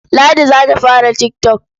Ladi za ta fara tik tok.